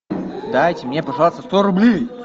дайте мне пожалуйста сто рублей